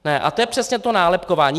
A to je přesně to nálepkování.